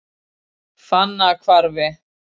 Fannahvarfi